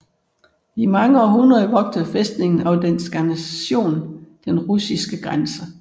I mange århundreder vogtede fæstningen og dens garnison den russiske grænse